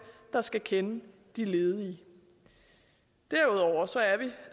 der skal kende de ledige derudover